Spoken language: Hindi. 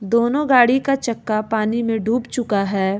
दोनो गाड़ी का चक्का पानी में डूब चुका है।